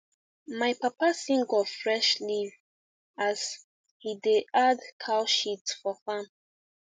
my papa sing of fresh leaf as he da add cow shit for farm